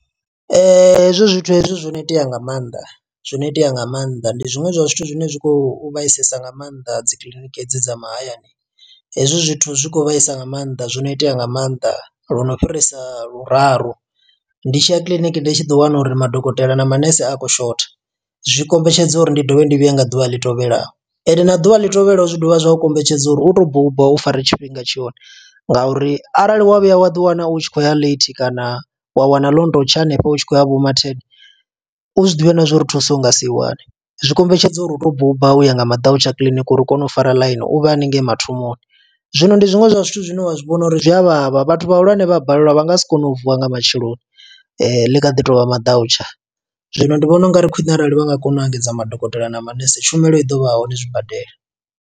Hezwo zwithu hezwi zwo no itea nga maanḓa, zwo no itea nga maanḓa, ndi zwiṅwe zwa zwithu zwine zwi khou vhaisasesa nga maanḓa dzi kiḽiniki dza mahayani. Hezwi zwithu zwi khou vhaisa nga maanḓa, zwo no itea nga maanḓa, lwo no fhirisa luraru. Ndi tshiya kiḽiniki ndi tshi ḓi wana uri madokotela na manese a khou shotha, zwi kombetshedza uri ndi dovhe ndi vhuye nga ḓuvha ḽi tevhelaho. Ende na ḓuvha ḽi tevhelaho zwi dovha zwa u kombetshedza uri u to buba, u fare tshifhinga tshone. Nga uri arali wa vhuya wa ḓi wana u tshi khou ya late kana wa wana ḽo no tou tsha hanefho, u tshi khou ya vho maten. U zwiḓivhe na zwo uri thuso u nga si i wane, zwi kombetshedza uri u to buba uya nga maḓautsha kiḽiniki uri u kone u fara ḽaini u vhe haningei mathomoni. Zwino ndi zwiṅwe zwa zwithu zwine wa zwi vhona uri zwi a vhavha, vhathu vhahulwane vha a balelwa vha nga si kone u vuwa nga matsheloni, ḽi kha ḓi tovha maḓautsha. Zwino ndi vhona ungari khwiṋe arali vha nga kona u engedza madokotela na manese tshumelo i ḓo vha a hone zwi badela.